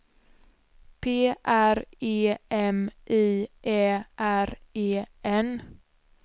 P R E M I Ä R E N